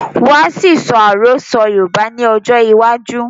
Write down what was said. Wọ́n á ṣì sọ Àròsọ́ Yorùbá ni ọjọ́ iwájú